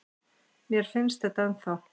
Mér finnst þetta ennþá.